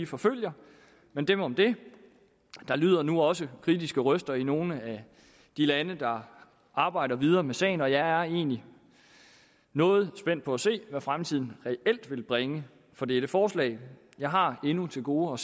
forfølger men dem om det der lyder nu også kritiske røster i nogle af de lande der arbejder videre med sagen og jeg er egentlig noget spændt på at se hvad fremtiden reelt vil bringe for dette forslag jeg har endnu til gode